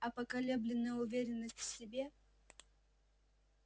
а поколебленная уверенность в себе